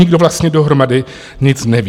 Nikdo vlastně dohromady nic neví.